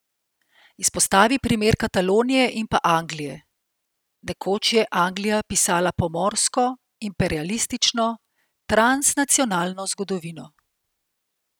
Izpostavi primer Katalonije in pa Anglije: "Nekoč je Anglija pisala pomorsko, imperialistično, transnacionalno zgodovino.